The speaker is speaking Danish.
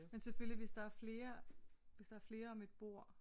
Men selvfølgelig hvis der er flere hvis der er flere om et bord